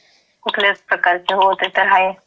भीती कुठल्याच प्रकारची. हो, ते तर हाये.